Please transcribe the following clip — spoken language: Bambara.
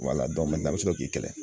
an bɛ sɔrɔ k'i kɛlɛ